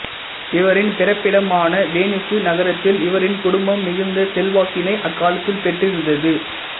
இவரின் பிறப்பிடமான வெனிசு நகரத்தில் இவரின் குடும்பம் மிகுந்த செல்வாக்கினை அக்காலத்தில் பெற்றிருந்தது